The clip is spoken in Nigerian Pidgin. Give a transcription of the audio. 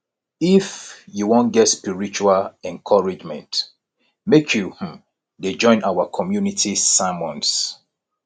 if you wan get spiritual encouragement make you um dey join our community sermons